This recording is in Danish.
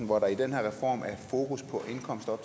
hvor der i den her reform er fokus på indkomster